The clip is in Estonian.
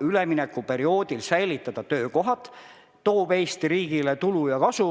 üleminekuperioodil säilitada töökohad ja toob Eesti riigile kasu.